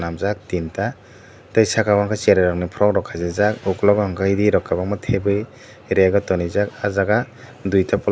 jaak tinta tei saka o ke cherai rok ni from rok khasijaak ukulog o unkempt ree rok o tabui rag o tonrejak ahjaaga duita pla --